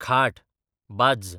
खाट, बाज्ज